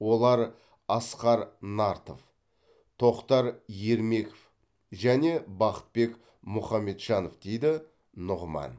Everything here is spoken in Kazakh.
олар асқар нартов тоқтар ермеков және бақытбек мұхамеджанов дейді нұғыман